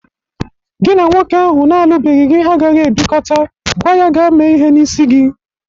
Gị na nwoke ahụ na-alụbeghi gị agaghi ebikọta. Gwa ya gaa mee ihe n'isi gị!